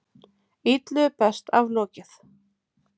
Illu er best aflokið.